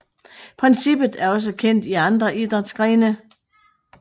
Princippet er også kendt i andre idrætsgrene